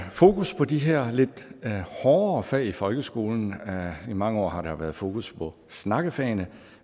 fokus på de her lidt hårde fag i folkeskolen i mange år har der været fokus på snakkefagene